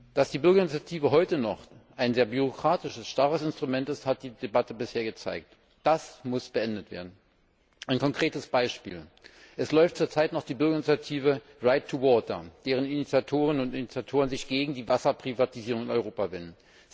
Dass die Bürgerinitiative heute noch ein sehr bürokratisches, starres Instrument ist, hat die Debatte bisher gezeigt. Das muss beendet werden! Ein konkretes Beispiel Es läuft zurzeit noch die Bürgerinitiative right2water, deren Initiatorinnen und Initiatoren sich gegen die Wasserprivatisierung in Europa wenden.